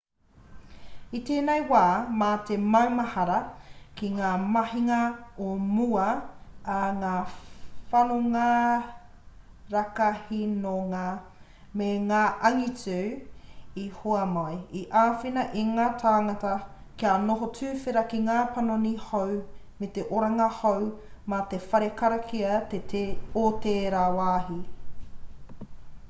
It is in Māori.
i tēnei wā mā te maumahara ki ngā mahinga o mua a ngā whanonga rakahinonga me ngā angitu i hua mai i āwhina i ngā tāngata kia noho tuwhera ki ngā panoni hou me te aronga hou mā te whare karakia o tērā wāhi